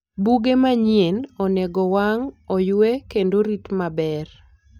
Buge manyien onego owang', oywe, kendo orit maber.